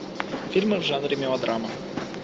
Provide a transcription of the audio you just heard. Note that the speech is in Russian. фильмы в жанре мелодрама